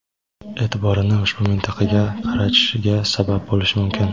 e’tiborini ushbu mintaqaga qaratishiga sabab bo‘lishi mumkin.